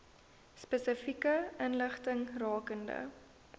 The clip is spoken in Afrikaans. spesifieke inligting rakende